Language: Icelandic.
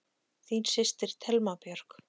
Þín systir, Thelma Björk.